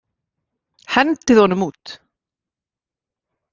Hendið honum út!